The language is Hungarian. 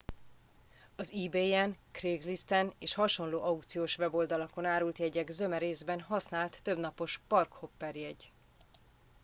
az ebayen craiglisten és hasonló aukciós weboldalakon árult jegyek zöme részben használt többnapos park hopper jegy